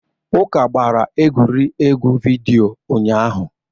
Uka gbara egwuregwu vidiyo ụnyahụ.